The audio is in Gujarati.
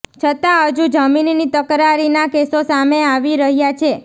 છતાં હજુ જમીનની તકરારીના કેસો સામે આવી રહ્યા છે